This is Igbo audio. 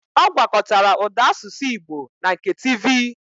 Ọ gwakọtara ụda asụsụ Igbo na nke tivi